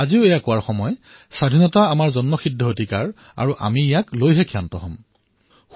আজি এয়া কোৱাৰ সময় যে স্বৰাজ আমাৰ জন্মস্বত্ব অধিকাৰ আৰু ইয়াক আমি প্ৰাপ্ত কৰিমেই